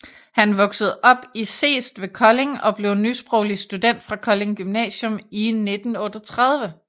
Han voksede op i Seest ved Kolding og blev nysproglig student fra Kolding Gymnasium i 1938